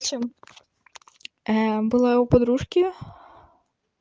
чем была у подружки